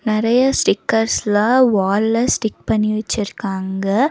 நெறைய ஸ்டிக்கர்ஸ்ல வால்ல ஸ்டிக் பண்ணி வெச்சுருக்காங்க.